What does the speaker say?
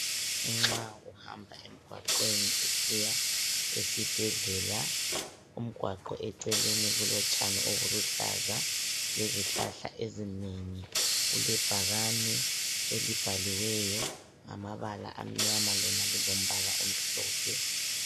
Nxa uhamba emgwaqweni usiya esibhedlela umgwaqo eceleni kulotshani obuluhlaza lezihlahla ezinengi kulebhakane elibhaliweyo ngamabala amnyama lona lilombala omhlophe.